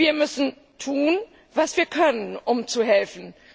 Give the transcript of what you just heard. Wir müssen tun, was wir können, um zu helfen.